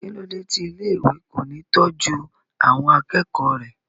kí ló dé tí ilé ìwé kò ní tọ́jú àwọn akẹ́kọ̀ọ́ rẹ̀?